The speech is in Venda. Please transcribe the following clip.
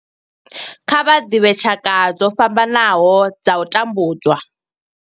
Kha vha ḓivhe tshaka dzo fhambanaho dza u tambudzwa